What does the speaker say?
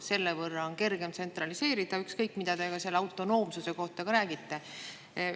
Selle võrra on kergem tsentraliseerida, ükskõik mida te autonoomsuse kohta räägite.